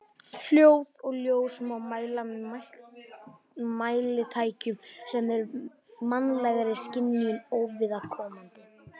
Hljóð og ljós má mæla með mælitækjum sem eru mannlegri skynjun óviðkomandi.